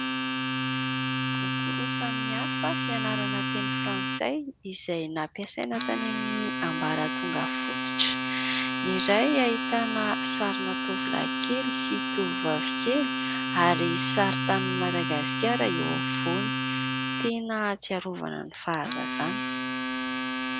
Boky roa samihafa fianarana teny frantsay izay nampiasaina tany amin'ny ambaratonga fototra, ny iray ahitana sarina tovolahy kely sy tovovavy kely ary saritanin'i Madagasikara eo afovoany, tena ahatsiarovana ny fahazazana.